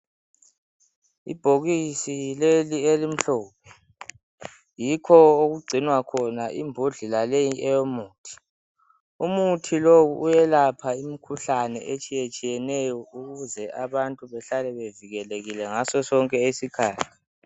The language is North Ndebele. Ibhokisi leli elimhlophe yikho okugcinwa khona imbodlela leyi eyomuthi umuthi lowu uyelapha imikhuhlane etshiye tshiyeneyo ukuze abantu behlale bevikelekile ngasosonke isikhathi.